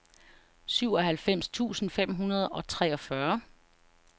syvoghalvfems tusind fem hundrede og treogfyrre